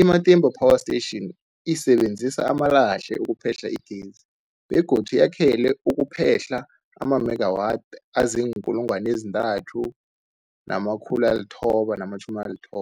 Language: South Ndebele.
I-Matimba Power Station isebenzisa amalahle ukuphehla igezi begodu yakhelwe ukuphehla amamegawathi azii-3990